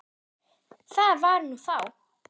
Það var nú þá.